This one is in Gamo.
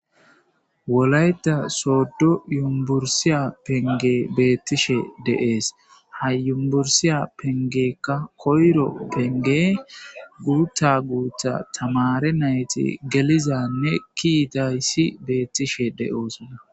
Wolayta soddo yumbursiya penge beettishe deees hayumbursiya pengekka koyro penge guuta guutha tamare nayti gelizanne kiidayssi beettishe de'oosona.